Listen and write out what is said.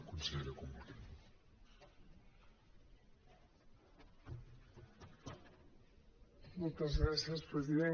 moltes gràcies president